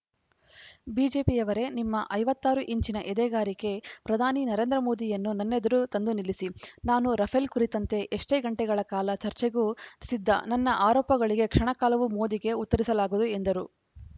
ಬಿಜೆಪಿಯವರೇ ನಿಮ್ಮ ಐವತ್ತ್ ಆರು ಇಂಚಿನ ಎದೆಗಾರಿಕೆ ಪ್ರಧಾನಿ ನರೇಂದ್ರ ಮೋದಿಯನ್ನು ನನ್ನೆದೆರು ತಂದು ನಿಲ್ಲಿಸಿ ನಾನು ರಫೇಲ್‌ ಕುರಿತಂತೆ ಎಷ್ಟೇ ಗಂಟೆಗಳ ಕಾಲ ಚರ್ಚೆಗೂ ಸಿದ್ದ ನನ್ನ ಆರೋಪಗಳಿಗೆ ಕ್ಷಣ ಕಾಲವೂ ಮೋದಿಗೆ ಉತ್ತರಿಸಲಾಗದು ಎಂದರು